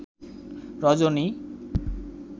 রজনী